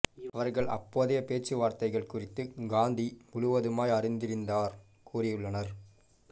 அவர்கள் அப்போதைய பேச்சுவார்த்தைகள் குறித்து காந்தி முழுவதுமாய் அறிந்திருந்தார் கூறியுள்ளனர்